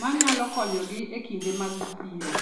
ma nyalo konyogi e kinde ma biro.